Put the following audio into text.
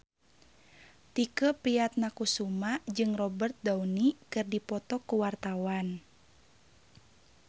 Tike Priatnakusuma jeung Robert Downey keur dipoto ku wartawan